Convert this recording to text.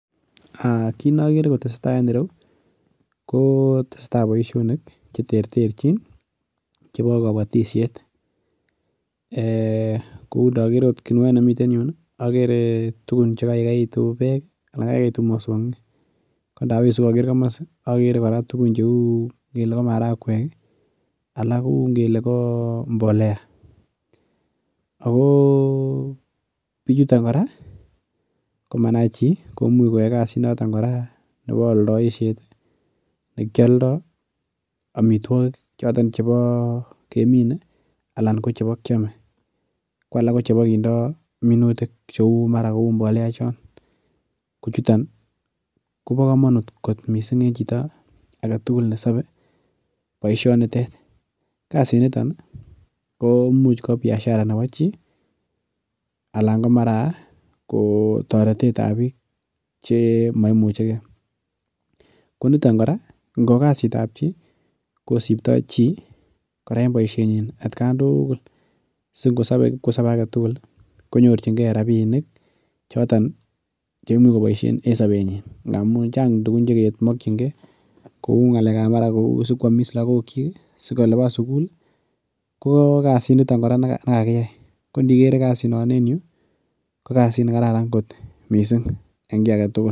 Aa kit nokere kotesetaa en ireu koo tesetaa boisinik cheterterjin chebo kobotishet, ee kou ndoker oot kuniet nemi yun ikere tugun chekaukeitun bek ii ana kaikeitun mosongik kondawisu koker komosi okere koraa tugun cheu ngele ko marakwek ii alak kou ngele ko mbolea ako bichuton koraa komanai chi komuch koyae kasinito kiraa nebo oldoishet nekioldo omitwogik choton chebo kemine anan ko chebo kiome kwalak kochebo kindo minutik cheu mara kou mbolea chon kochuton kobo komonut kot missing' en chito aketugul nesobe boisionitet , kasiniton komuch ko biashara nebo chi alan komara toretetab bik che maran ko moimuche kee, koniton koraa ingo kasitab chi kosibto chi koraa en boisienyiny at kan tugul singosobe kipkosobee aketugul ii konyorjingee rabinik chiton che imuch koboisien en sobenyin ndamun chang tugun chekemokyingee kou ngalekab mara sikwomis lagokyik sikoliban sukul ii ko kasiniton koraa nekakiyai kondikere en yu kokasit nekararan ngot missing en ki agetugul.